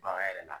Bagan yɛrɛ la